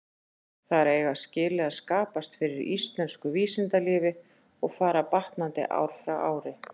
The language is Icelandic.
Þar eiga skilyrði að skapast fyrir íslensku vísindalífi, og fara batnandi ár frá ári.